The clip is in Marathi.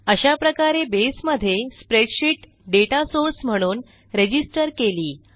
अशाप्रकारे बसे मध्ये स्प्रेडशीट डेटा सोर्स म्हणून रजिस्टर केली